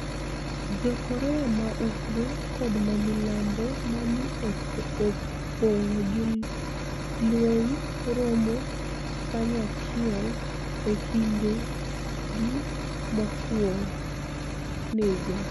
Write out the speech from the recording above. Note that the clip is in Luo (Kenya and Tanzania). Jo-Korea ma Ugwe kod ma milambo ma ni e opog gi lweniy romo kaniyachiel e kinidegi mokwonigo